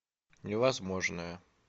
невозможное